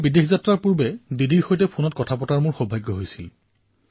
বিদেশ যাত্ৰালৈ যোৱাৰ পূৰ্বে মই দিদিৰ সৈতে ফোনত কথা পতাৰ সৌভাগ্য লাভ কৰিছিলো